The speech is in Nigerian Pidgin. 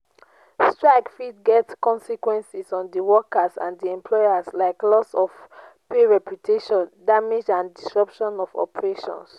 srike fit get consequences on di workers and di employers like loss of pay reputation damage and disruption of operations.